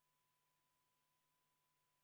Saame minna muudatusettepaneku nr 40 juurde.